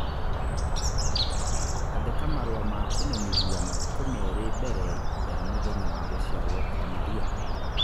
Andĩka marũa ma kũmenyithia matukũ merĩ mbere ya mũthenya wa gũciarũo kwa Maria.